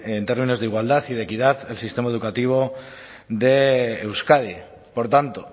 en términos de igualdad y de equidad el sistema educativo de euskadi por tanto